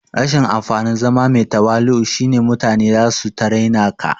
Rashin amfanin zama mai tawali'u shine mutane zasu ta raina ka